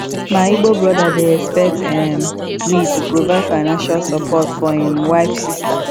my igbo brother dey expect um me to provide financial support for im wife sister